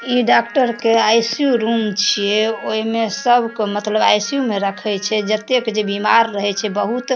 ई doctor के ICU. Room छीये | ओय मे सब के मतलब आई.सी.यु. में रखे छै जतेक जेई बीमार रहे छै बहुत --